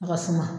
A ka suma